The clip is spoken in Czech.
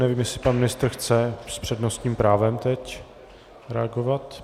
Nevím, jestli pan ministr chce s přednostním právem teď reagovat.